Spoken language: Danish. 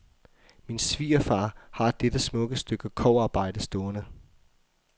Min svigerfar har dette smukke stykke kobberarbejde stående.